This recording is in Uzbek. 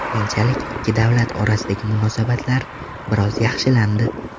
Keyinchalik ikki davlat orasidagi munosabatlar biroz yaxshilandi.